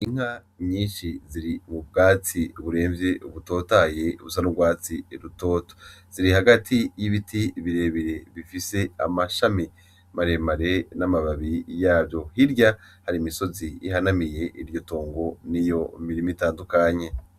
Inka nyinshi ziri mu bwatsi buremvye butotahaye busa n'urwatsi rutoto ,ziri hagati y'ibiti birebire bifis'amashami maremare nababi yavyo hirya hari imisozi ihanamiye iryo tongo niyo mirima itandukanye.